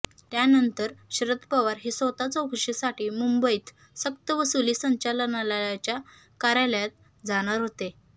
त्यानंतर शरद पवार हे स्वतः चौकशीसाठी मुंबईत सक्तवसुली संचालनालयाच्या कार्यालयात जाणार होते